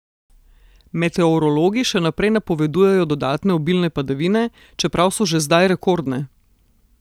Meteorologi še naprej napovedujejo dodatne obilne padavine, čeprav so že zdaj rekordne.